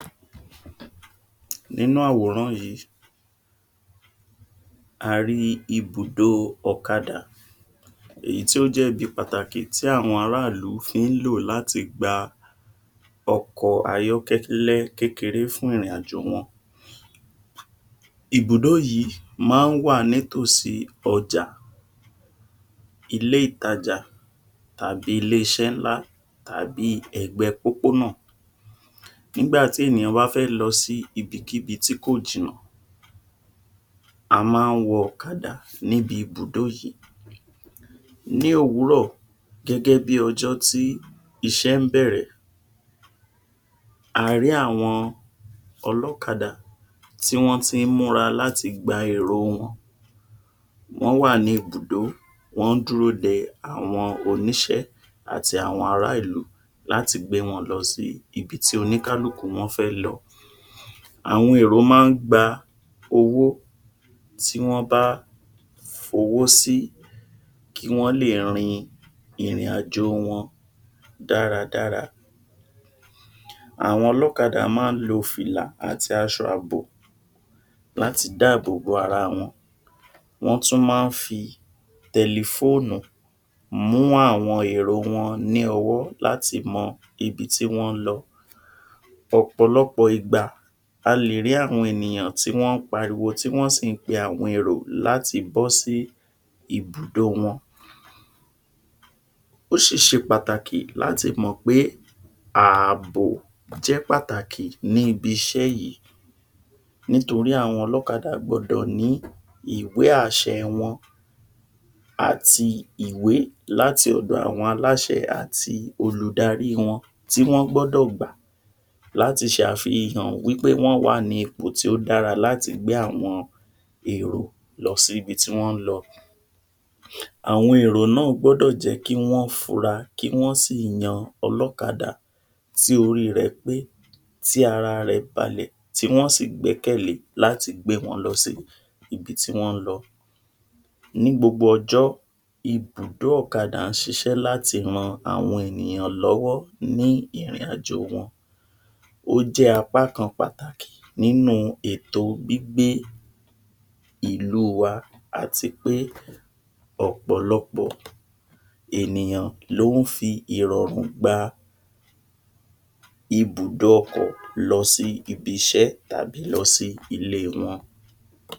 nínú àwòrán yìí a rí ibùdó ọ̀kadà èyí tó jẹ́ ibi pàtàkì tí àwọn ará ìlú fi ń lò láti gba ọkọ̀ ayọ́kẹ́lẹ́ kékeré fún ìrìn àjò wọn ibùdó yìí ma ń wà ní ítòsí ọ̀jà ilé ìtajà àbí ilé iṣẹ́ ńlá à bíi ẹ̀gbẹ́ẹ pópó’nà ńgbà tí ènìyàn bá fẹ́ lọ sí ibikíbi tí kò jìnnà a má ń wọ ọkadà níbi ibùdó yìí ní òwúrọ̀ gẹ́gẹ́ bí ọjọ́ tí iṣé ń bẹ̀rẹ̀ a rí àwọn ọlọ́kadà tí wọn tí ń múra láti gba èrò wọn wọ́n wà ní ibùdó wọ́n ń dúró de àwọn oníṣẹ́ àti àwọn ará ìlú láti gbé wọn lọ sí ibi tí oníkálùkù wọn fẹ́ lọ àwọn èrò ma ń gba owó tí wọn bá f’owó sí owó sí kí wọn lè rin ìrìn àjò wọn dáradára àwọn ọlọ́kadà má ń lo fìlà àti aṣọ àbò láti dá àbò bo ara wọn wọ́n tún ma ń fí tẹlifóònù mú àwọn èro wọn ní ọwọ́ láti mọ ibi tí wọ́n ń lọ ọ̀pọ̀lọpọ̀ ìgbà a lè rí àwọn ènìyàn tí wọ́n ń pariwo tí wọ́n sì ń pe àwọn èrò láti bọ́ sí ibùdó wọn ó ṣì ṣe pàtàkì láti mọ̀ pé ààbò jẹ́ pàtàkì níbi iṣẹ́ yìí nítorí àwọn olọ́kadà gbọdọ̀ ní ìwé àṣẹ wọn àti ìwé láti ọ̀dọ̀ àwọn aláṣẹ àti olùdarí wọn tí wọn gbọ́dọ̀ gbà láti ṣe àfihàn wípé won wá ní ipò tí ó dára láti gbé àwọn èrò, lọ sí ibi tí wón ń lọ àwọn èrò náà gbọ́dọ̀ jẹ́ kí wọ́n funra, kí wọ́n ṣí yan ọlọ́kadà tí orí rẹ̀ pé tí ara rẹ̀ balẹ̀ tí wọ́n ṣí gbẹ́kẹ̀lé láti gbé wọn lọ sí ibi tí wọ́n ń lọ ní gbogbo ọjọ́ ibùdó ọ̀kadà ń ṣiṣẹ́ láti ran àwọn ènìyàn lọ́wọ́ ní ìrìn àjò wọn ó jẹ́ apá kan pàtàkì nínúu ètò gbígbé ìlú wa ati pé ọ̀pọ̀lọpọ̀ ènìyàn ló ń fi ìrọ̀rùn gba ibùdó ọkọ̀ lọ sí ibi iṣẹ́ tàbí lọ sí ilé wọn